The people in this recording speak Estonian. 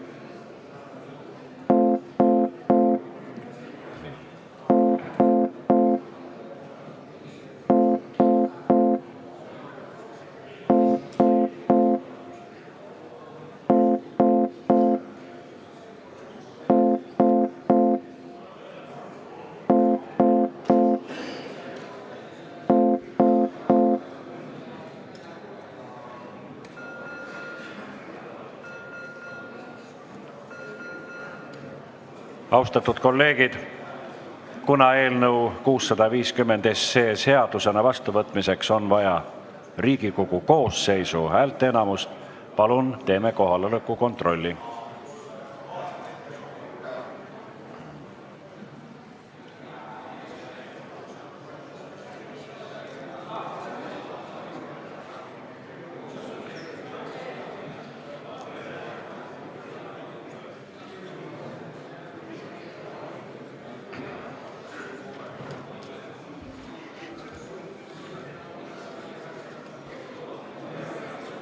Austatud kolleegid, kuna eelnõu 650 seadusena vastuvõtmiseks on vaja Riigikogu koosseisu häälteenamust, siis palun teeme kohaloleku kontrolli!